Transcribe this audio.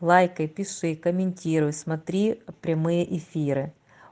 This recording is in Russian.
лайкай пиши комментируй смотри прямые эфиры